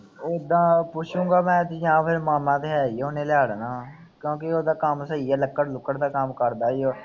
ਉਦਾਂ ਪੁੱਛੁਗਾਂ ਮੈਂ ਕਿ ਹਾਂ ਫੇਰੇ ਮਾਮਾ ਤਾਂ ਹੈ ਹੀ ਉਹਨੇ ਲੈ ਲੈਣਾ। ਕਿਉਂਕਿ ਉਹਦਾ ਕੰਮ ਸਹੀ ਹੈ। ਲੱਕੜ ਲਕੱੜੁ ਦਾ ਕੰਮ ਕਰਦਾ ਹੀ ਉਹ।